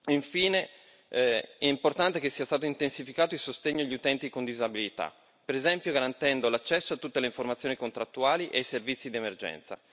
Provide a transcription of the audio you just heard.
Infine, è importante che sia stato intensificato il sostegno agli utenti con disabilità, per esempio, garantendo l'accesso a tutte le informazioni contrattuali e ai servizi d'emergenza.